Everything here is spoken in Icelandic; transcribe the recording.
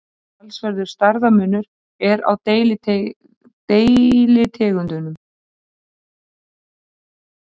Talsverður stærðarmunur er á deilitegundum.